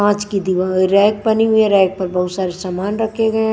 कांच की दि रैक बनी हुई है रैक पर बहुत सारे सामान रखे हैं।